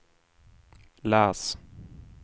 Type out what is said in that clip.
läs